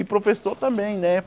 E professor também, né?